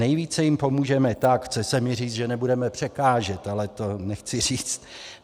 Nejvíce jim pomůžeme tak - chce se mi říct, že nebudeme překážet, ale to nechci říct.